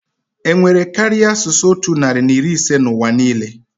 Enwere karịa asụsụ otu narị na iri ise na ụwa niile?